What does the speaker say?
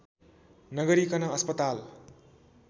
नगरिकन अस्पताल